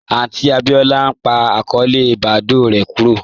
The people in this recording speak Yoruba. Aunti Abíọlá n pa akọọlẹ Badoo rè kúrò